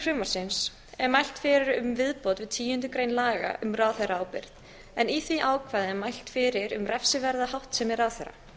frumvarpsins er mælt fyrir um viðbót við tíundu grein laga um ráðherraábyrgð en í því ákvæði er mælt fyrir um refsiverða háttsemi ráðherra